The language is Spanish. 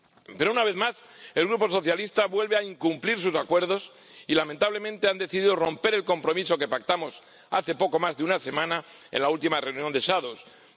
Pero, una vez más, el Grupo socialista vuelve a incumplir sus acuerdos y, lamentablemente, ha decidido romper el compromiso que pactamos hace poco más de una semana en la última reunión de ponentes alternativos.